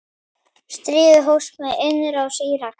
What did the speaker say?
Stríðið hófst með innrás Íraka.